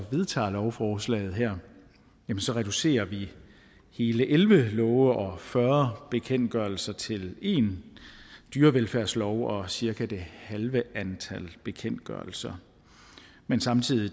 vedtager lovforslaget her reducerer hele elleve love og fyrre bekendtgørelser til én dyrevelfærdslov og cirka det halve antal bekendtgørelser men samtidig